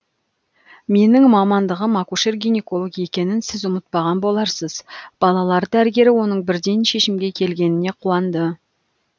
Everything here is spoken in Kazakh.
менің мамандығым акушер гинеколог екенін сіз ұмытпаған боларсыз балалар дәрігері оның бірден шешімге келгеніне қуанды